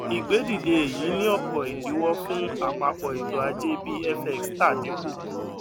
ìgbé dìde èyí ní ọpọ ìdíwọ fún àpapọ ètò ajé bí fx tà dínkù